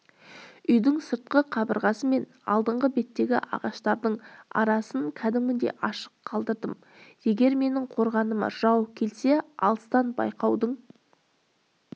үйдің сыртқы қабырғасы мен алдыңғы беттегі ағаштардың арасын кәдімгідей ашық қалдырдым егер менің қорғаныма жау келсе алыстан байқаудың